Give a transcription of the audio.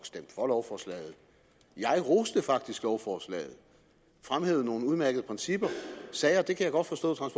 stemme for lovforslaget jeg roste faktisk lovforslaget og fremhævede nogle udmærkede principper jeg sagde at jeg godt